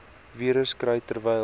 virus kry terwyl